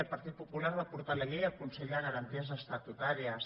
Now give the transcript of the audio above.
el partit popular va portar la llei al consell de garanties estatutàries